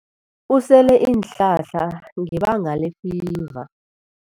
Usele iinhlahla ngebanga lefiva.